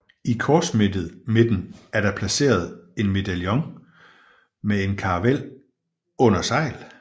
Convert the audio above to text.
I korsmidten er der placeret en medaljon med en karavel under sejl